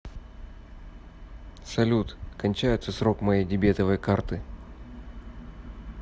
салют кончается срок моей дебетовой карты